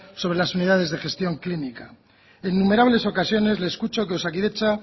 sobre las unidades de gestión clínica en innumerables ocasiones le escucho que osakidetza